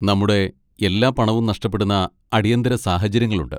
നമ്മുടെ എല്ലാ പണവും നഷ്ടപ്പെടുന്ന അടിയന്തിര സാഹചര്യങ്ങളുണ്ട്.